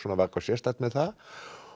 sérstakt með það og